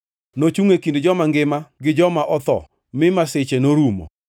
Nochungʼ e kind joma ngima gi joma otho, mi masiche norumo.